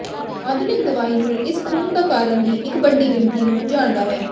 ਆਧੁਨਿਕ ਦਵਾਈ ਨੂੰ ਇਸ ਖੂਨ ਦਾ ਕਾਰਨ ਦੀ ਇੱਕ ਵੱਡੀ ਗਿਣਤੀ ਨੂੰ ਜਾਣਦਾ ਹੈ